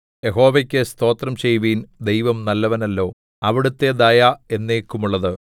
യഹോവയ്ക്കു സ്തോത്രം ചെയ്യുവിൻ ദൈവം നല്ലവനല്ലോ അവിടുത്തെ ദയ എന്നേക്കുമുള്ളത്